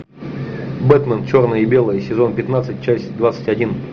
бэтмен черное и белое сезон пятнадцать часть двадцать один